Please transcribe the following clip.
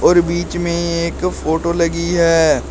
बीच में एक फोटो लगी है।